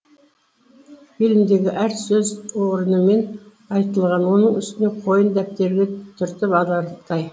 фильмдегі әр сөз орнымен айтылған оның үстіне қойын дәптерге түртіп аларлықтай